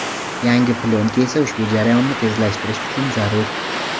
Yangi plyonka esa ushbu jarayonni tezlashtirish uchun zarur.